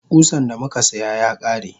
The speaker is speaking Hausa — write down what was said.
Kusan damuka siya yakare.